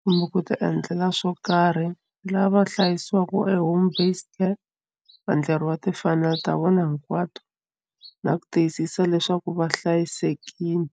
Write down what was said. kumbe ku ti endlela swo karhi lava hlayisiwaka home based care va endleriwa timfanelo ta vona hinkwato na ku tiyisisa leswaku va hlayisekile.